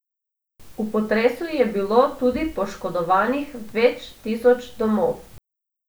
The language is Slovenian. V potresu je bilo tudi poškodovanih več tisoč domov.